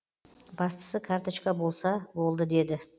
бастысы карточка болса болды деді